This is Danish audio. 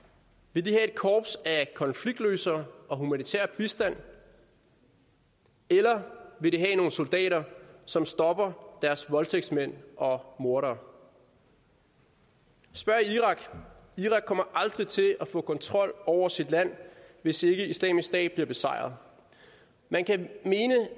vil de have et korps af konfliktløsere og humanitær bistand eller vil de have nogle soldater som stopper deres voldtægtsmænd og mordere spørg irak irak kommer aldrig til at få kontrol over sit land hvis ikke islamisk stat bliver besejret man kan mene